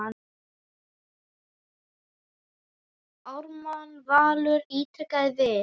Ármann Valur ítrekar við